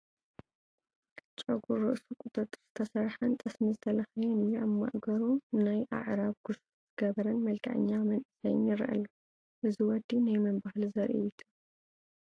ጨጉሪ ርእሱ ቁጥርጥር ዝተሰርሐን ሰጥሚ ዝተለኸየን እዩ፡፡ ኣብ ማእገሩ ናይ ኣዕራብ ኩሹፍ ዝገበረን መልከዐኛ መንእሰይ ይረአ ኣሎ፡፡ እዚ ወዲ ናይ መን ባህሊ ዘርኢ እዩ ትብሉ?